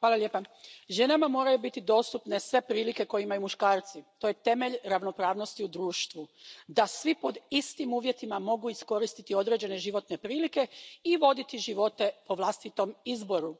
predsjedavajuća, ženama moraju biti dostupne sve prilike koje imaju muškarci. To je temelj ravnopravnosti u društvu, da svi pod istim uvjetima mogu iskoristiti određene životne prilike i voditi živote po vlastitom izboru.